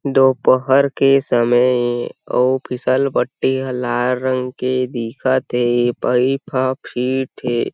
दोपहर के समय ए औ फिसलपट्टी ह लाल रंग के दिखत हे पईप ह फिट हे।